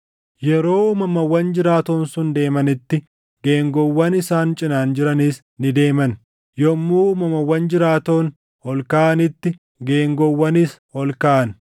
Yeroo uumamawwan jiraatoon sun deemanitti geengoowwan isaan cinaan jiranis ni deeman; yommuu uumamawwan jiraatoon ol kaʼanitti geengoowwanis ol kaʼan.